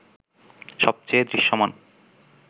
সবচেয়ে দৃশ্যমান